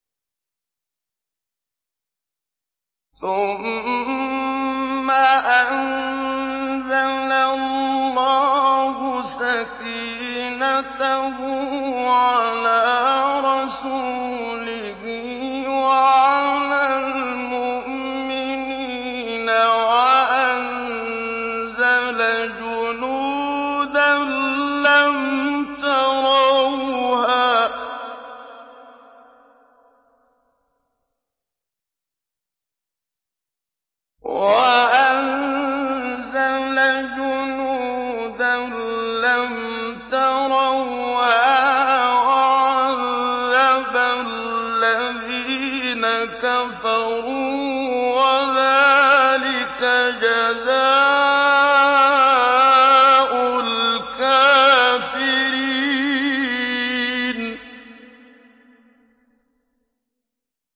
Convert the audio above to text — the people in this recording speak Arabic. ثُمَّ أَنزَلَ اللَّهُ سَكِينَتَهُ عَلَىٰ رَسُولِهِ وَعَلَى الْمُؤْمِنِينَ وَأَنزَلَ جُنُودًا لَّمْ تَرَوْهَا وَعَذَّبَ الَّذِينَ كَفَرُوا ۚ وَذَٰلِكَ جَزَاءُ الْكَافِرِينَ